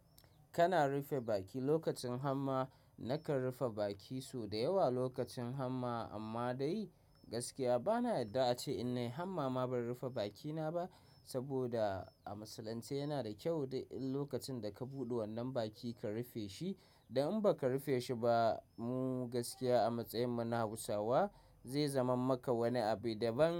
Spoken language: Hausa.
Kana rufe baki lokacin hamma. Nakan rufe baki sau da yawa lokacin hamma amma dai gaskiya bana yarda a ce in nai hannu ma ban rufe bakina ba saboda a musulance yana da kyau lokacin da ka buɗe wannan baki ka rufe shi. Da in ba ka rufe shi ba mu gaskiya a matsayinmu na Hausawa zai zama maka wani abu da ban.